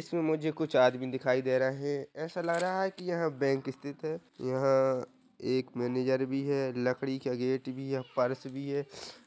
इसमे मुझे कुछ आदमी दिखाई दे रहे है ऐसा लग रहा है की यहाँ एक बैंक स्थित है यहाँ एक मेनेजर भी है लकड़ी का गेट भी है पर्स भी है